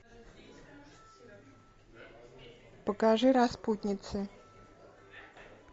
покажи распутницы